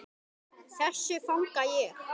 Þessu fagna ég.